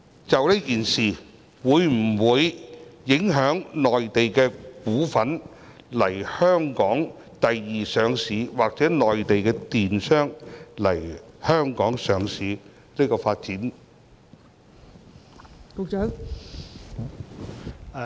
這次事件會否影響內地股份來港作第二上市或內地公司來港上市發展？